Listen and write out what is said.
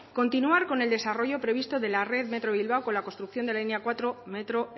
continuar con el desarrollo previsto de la red metro bilbao con la construcción de la línea cuatro del metro